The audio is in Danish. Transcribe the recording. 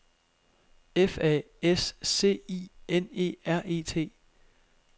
F A S C I N E R E T